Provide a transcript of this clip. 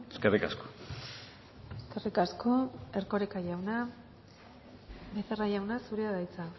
eskerrik asko eskerrik asko erkoreka jauna becerra jauna zurea da hitza